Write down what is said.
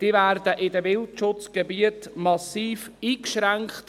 Diese würden in den Wildschutzgebieten massiv eingeschränkt.